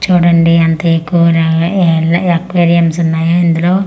చూడండి అంత ఎక్కువు లాగా ఎర్ ఎర్ర అక్వేరియమ్స్ ఉన్నాయి ఇందులో--